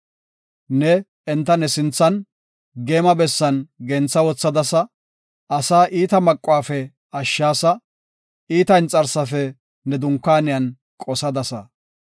Neeni enta ne sinthan, geema bessan gentha wothadasa; asaa iita maquwafe ashshaasa; iita inxarsafe ne dunkaaniyan qosadasa.